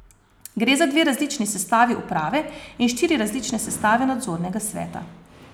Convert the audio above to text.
Gre za dve različni sestavi uprave in štiri različne sestave nadzornega sveta.